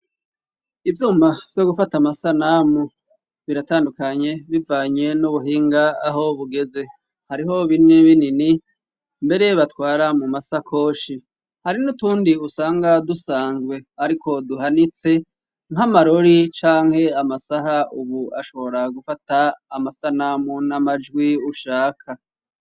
Ivyuma vyo gufata amasanamu biratandukanye bivanye n'ubuhinga aho bugeze ,hariho binini binini mbere batwara mu masakoshi ,hari n'utundi usanga dusanzwe ariko duhanitse nk'amarori ,canke amasaha ,ubu ashobora gufata amasanamu n'amajwi ushaka.